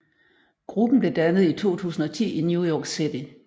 Gruppen blev dannet i 2010 i New York City